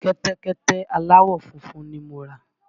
Kẹ́tẹ́kẹ́tẹ́ aláwọ̀ funfun ni mo rà.